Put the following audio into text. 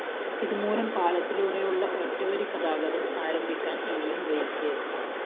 ഇതുമൂലം പാലത്തിലൂടെയുള്ള ഒറ്റവരി ഗാതാഗതം ആരംഭിക്കാന്‍ ഇനിയും വൈകിയേക്കും